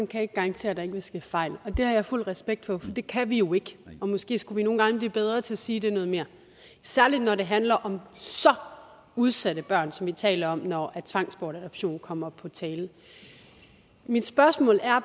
kan garantere at der ikke vil ske fejl og det har jeg fuld respekt for for det kan vi jo ikke og måske skulle vi nogle gange blive bedre til at sige det noget mere særlig når det handler om så udsatte børn som vi taler om når tvangsadoption kommer på tale mit spørgsmål